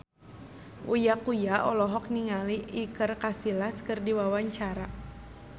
Uya Kuya olohok ningali Iker Casillas keur diwawancara